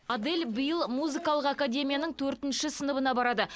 адель биыл музыкалық академияның төртінші сыныбына барады